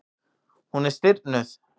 Hún er stirðnuð.